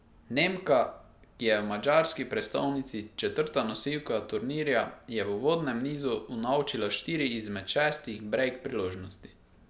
Nemka, ki je v madžarski prestolnici četrta nosilka turnirja, je v uvodnem nizu unovčila štiri izmed šestih brejk priložnosti.